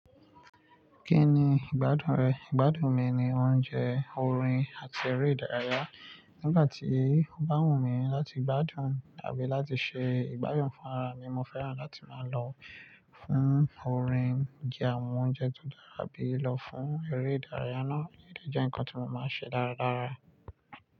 Kí ni ìgbádùn rẹ? Ìgbádùn mi ni oúnjẹ, orin, àti eré ìdárayá. Nígbà tí ó bá wùn mí láti gbádùn àbí láti ṣe ìgbáyàn fún ara mi, mo fẹ́ràn láti máa lọ fún orin, jẹ àwọn oúnjẹ tó dára bí i lọ fún eré ìdárayá náà. Eléyi jẹ́ ǹkan tí mo máa ń ṣe dáradára.